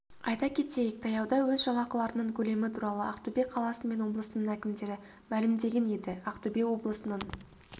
айта кетейік таяуда өз жалақыларының көлемі туралы ақтөбе қаласы мен облысының әкімдері мәлімдеген еді ақтөбе облысының